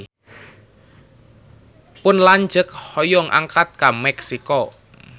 Pun lanceuk hoyong angkat ka Meksiko